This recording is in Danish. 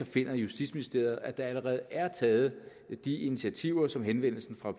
finder justitsministeriet at der allerede er taget de initiativer som henvendelsen fra